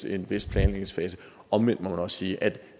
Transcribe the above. en vis planlægningsfase omvendt må man også sige at